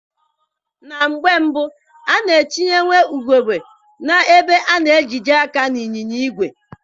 Na mgbe mbụ, a na-etinyewa ugegbe na-ebe a na-ejide aka n'ịnyịnya ìgwè.